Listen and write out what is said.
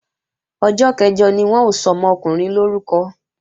Ọjọ́ kẹ̀jọ ni wọ́n ó sọmọkùnrin lórúkọ